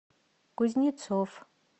кузнецов